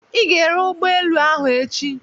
Ị ga-ere ụgbọelu ahụ echi!